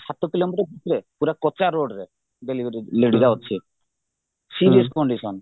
ସାତ କିଲୋମିଟର ଭିତରେ ପୁରା କଚା ରୋଡରେ delivery lady ର ଅଛି serious condition